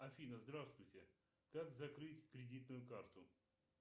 афина здравствуйте как закрыть кредитную карту